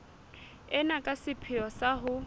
ena ka sepheo sa ho